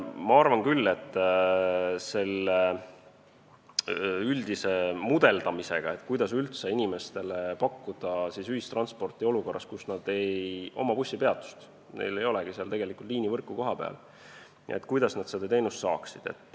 Ma arvan küll, et selle üldise mudeldamisega, kuidas üldse pakkuda ühistransporti inimestele, kellel ei ole läheduses bussipeatust ega üldse kohapealset liinivõrku, tuleb mõelda, kuidas nad seda teenust saaksid.